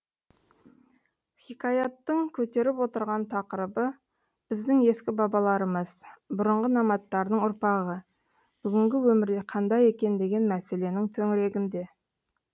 хикаяттың көтеріп отырған тақырыбы біздің ескі бабаларымыз бұрынғы номадтардың ұрпағы бүгінгі өмірде қандай екен деген мәселенің төңірегінде